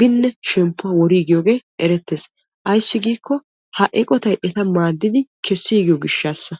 binne shemppuwaa woriigiyooge erettes. Ayissi giiko ha eqotayi eta maddid kessiigiyo gishataassa.